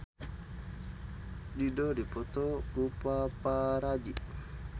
Dido dipoto ku paparazi